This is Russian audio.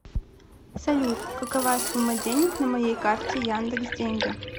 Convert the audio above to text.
салют какова сумма денег на моей карте яндекс деньги